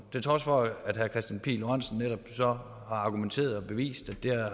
til trods for at herre kristian pihl lorentzen netop så har argumenteret for og bevist